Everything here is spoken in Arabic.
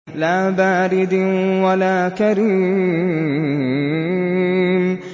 لَّا بَارِدٍ وَلَا كَرِيمٍ